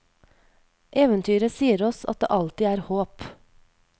Eventyret sier oss at det alltid er håp.